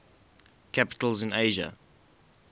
capitals in asia